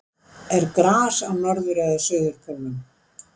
er gras á norður eða suðurpólnum